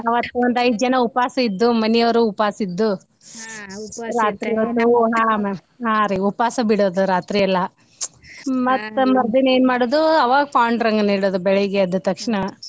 ಅವತ್ತ ಒಂದೈದ ಜನಾ ಉಪವಾಸ ಇದ್ದು ಮನಿಯವ್ರು ಉಪವಾಸ ಇದ್ದು ಹಾ ರೀ ಉಪವಾಸ ಬಿಡುದು ರಾತ್ರಿ ಎಲ್ಲಾ ಮತ್ತ್ ಮರ್ದಿನ ಏನ್ ಮಾಡೋದು ಆವಾಗ ಪಾಂಡುರಂಗನ್ ಇಡುದು ಬೆಳಿಗ್ಗೆ ಎದ್ದ್ ತಕ್ಷಣ.